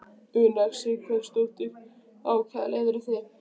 Una Sighvatsdóttir: Á hvaða leið eru þið?